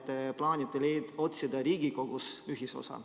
Te plaanite otsida Riigikogus ühisosa.